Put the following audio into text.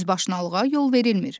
Özbaşınalığa yol verilmir.